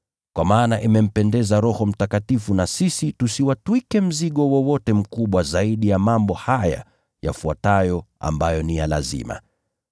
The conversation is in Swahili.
Kwa maana imempendeza Roho Mtakatifu na sisi tusiwatwike mzigo wowote mkubwa zaidi ya mambo haya yafuatayo ambayo ni ya lazima: